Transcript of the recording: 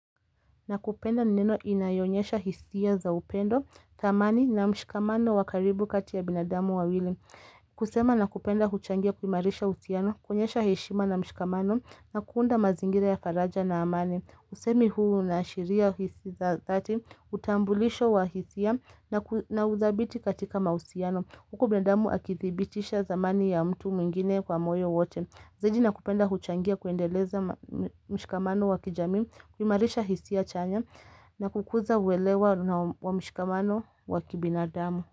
Nakupenda ni neno inayonyesha hisia za upendo, thamani na mshikamano wa karibu kati ya binadamu wawili. Kusema nakupenda huchangia kuhimarisha uhusiano, kuonyesha heshima na mshikamano na kuunda mazingira ya faraja na amani. Usemi huu unaashiria hisi za dhati, utambulisho wa hisia na udhabiti katika mausiano. Huku binadamu akithibitisha thamani ya mtu mwingine kwa moyo wote. Zaidi na kupenda huchangia kuendeleza mshikamano wa kijamii, kuhimarisha hisi ya chanya na kukuza uwelewa wa mshikamano wa kibinadamu.